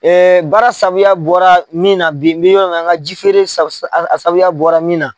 baara sabuya bɔra min na bi, n bɛ yɔrɔ min na an ka ji feere sababuya bɔra min na